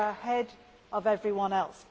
We were ahead of everyone else.